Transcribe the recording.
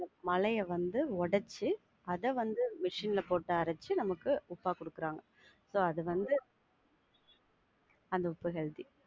மலைய வந்து ஒடச்சி அத வந்து machine ல போட்டு அரச்சி நமக்கு உப்பா குடுக்குறாங்க. So அது வந்து அந்த உப்பு healthy.